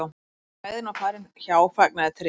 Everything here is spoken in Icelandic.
svo þegar lægðin var farin hjá fagnaði tréð